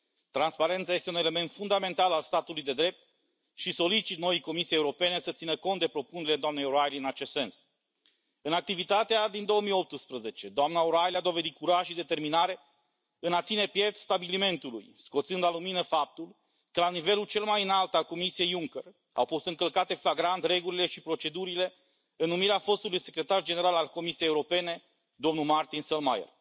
Transparența este un element fundamental al statului de drept și solicit noii Comisii Europene să țină cont de propunerile doamnei O'Reilly în acest sens. În activitatea din 2018, doamna O'Reilly a dovedit curaj și determinare în a ține piept stabilimentului, scoțând la lumină faptul că la nivelul cel mai înalt al Comisiei Juncker au fost încălcate flagrant regulile și procedurile în numirea fostului Secretar General al Comisiei Europene, domnul Martin Selmayr.